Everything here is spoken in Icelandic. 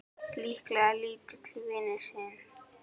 Líklega lítill vinur þinn!